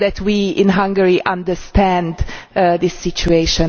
So that we in Hungary understand the situation.